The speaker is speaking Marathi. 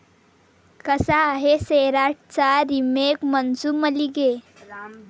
कसा आहे 'सैराट'चा रिमेक 'मनसू मल्लिगे'?